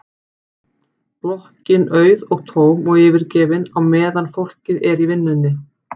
Blokkin auð og tóm og yfirgefin á meðan fólkið er í vinnunni.